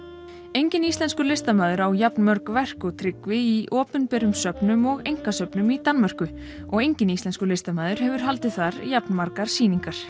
enginn íslenskur listamaður á jafnmörg verk og Tryggvi í opinberum söfnum og einkasöfnum í Danmörku og enginn íslenskur listamaður hefur haldið þar jafnmargar sýningar